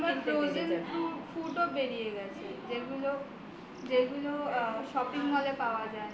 এখন আবার frozen fruit ও বেরিয়ে গেছে যেগুলো shopping mall এ পাওয়া যায়